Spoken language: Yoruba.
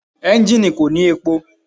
Enjini ko ni epo